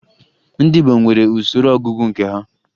Ndị Igbo nwere usoro ọgụgụ nke ha